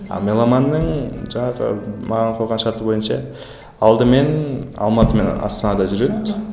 ал меломанның жаңағы маған қойған шарты бойынша алдымен алматы мен астанада жүреді